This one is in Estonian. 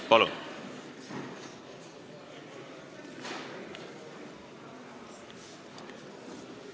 Palun!